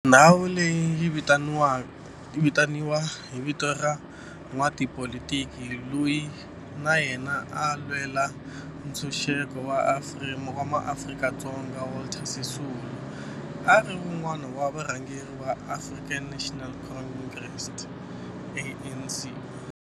Ndhawu leyi yi vitaniwa hi vito ra n'watipolitiki loyi na yena a lwela ntshuxeko wa maAfrika-Dzonga Walter Sisulu, a ri wun'wana wa varhangeri va African National Congress, ANC.